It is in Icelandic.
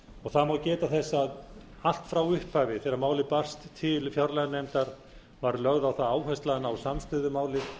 niðurstöðu það má geta þess að allt frá upphafi þegar málið barst til fjárlaganefndar var lögð á það áhersla að ná samstöðu um málið